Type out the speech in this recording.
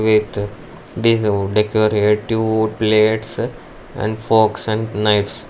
it this decorative plates and forks and knifes.